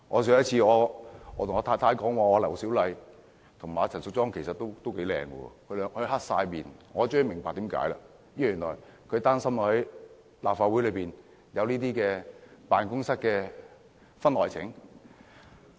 有一次跟我太太說，劉小麗議員和陳淑莊議員其實都頗美麗時，她板起了臉孔，我終於明白為甚麼了，原來她擔心立法會內有辦公室的婚外情。